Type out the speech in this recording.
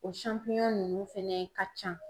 O ninnu fɛnɛ ka can.